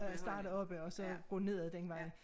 Øh starte oppe og så gå nedad den vej